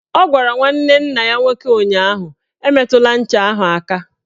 Ọ gwara nwanne nna ya nwoke ụnyaahụ "Emetụla ncha ahụ aka!